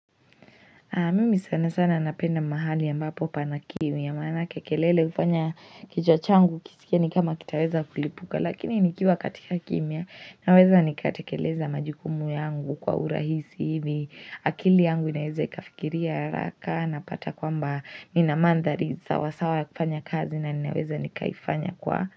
Na mimi sana sana napenda mahali ambapo pana kimya maanake kelele hufanya kichwa changu kisikie ni kama kitaweza kulipuka lakini nikiwa katika kimya naweza nikatekeleza majukumu yangu kwa urahisi hivi akili yangu inaweza ikafikiria haraka napata kwamba ina manthari sawasawa ya kufanya kazi na ninaweza nikaifanya kwa.